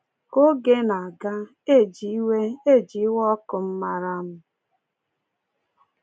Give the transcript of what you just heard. Ka oge na-aga, e ji iwe e ji iwe ọkụ m mara m.